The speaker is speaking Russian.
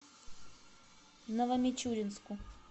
новомичуринску